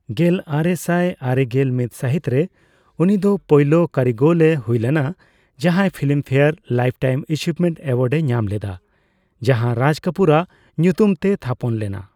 ᱜᱮᱞᱟᱨᱮᱥᱟᱭ ᱟᱨᱮᱜᱮᱞ ᱢᱤᱛ ᱥᱟᱹᱦᱤᱛ ᱨᱮ, ᱩᱱᱤ ᱫᱚ ᱯᱳᱭᱞᱳ ᱠᱟᱹᱨᱤᱜᱚᱞ ᱮ ᱦᱩᱭᱞᱮᱱᱟ ᱡᱟᱦᱟᱸᱭ Filmfare lifetime achievement award ᱮ ᱧᱟᱢ ᱞᱮᱫᱟ, ᱡᱟᱦᱟᱸ ᱨᱟᱡ ᱠᱟᱯᱩᱨᱟᱜ ᱧᱩᱛᱩᱢ ᱛᱮᱭ ᱛᱷᱟᱯᱚᱱ ᱞᱮᱱᱟ ᱾